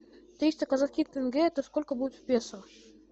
триста казахских тенге это сколько будет в песо